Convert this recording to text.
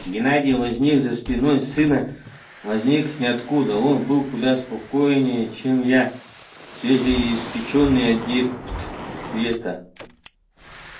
геннадий возник за спиной сына возник ниоткуда он был куда способнее чем я свежеиспечённый адепт света